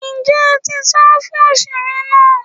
njé a ti sán fún osere náá?